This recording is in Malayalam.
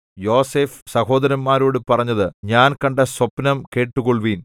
യോസേഫ് സഹോദരന്മാരോട് പറഞ്ഞത് ഞാൻ കണ്ട സ്വപ്നം കേട്ടുകൊൾവിൻ